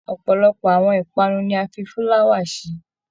Ọpọlọpọ àwọn ipanu ní a fí fulawa ṣe.